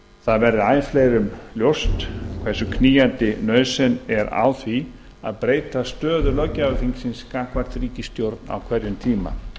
það verði æ fleirum ljóst hversu knýjandi nauðsyn er á því að breyta stöðu löggjafarþingsins gagnvart ríkisstjórn á hverjum tíma